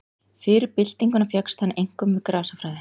Fyrir byltinguna fékkst hann einkum við grasafræði.